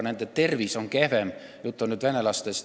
Nende tervis on kehvem.